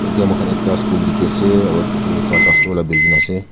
etia moikhan ekta school dikhi ase aro etu charta storey la building ase.